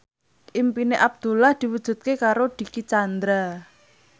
impine Abdullah diwujudke karo Dicky Chandra